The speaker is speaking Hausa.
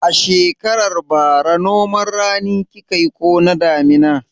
A shekarar bara noman rani kika yi ko na damina?